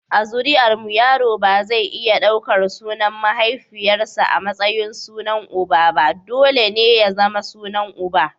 A zuri’armu yaro ba zai iya daukar sunan mahaifiyarsa a matsayin sunan uba, dole ne ya zama sunan uba.